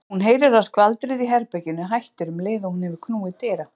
Hún heyrir að skvaldrið í herberginu hættir um leið og hún hefur knúið dyra.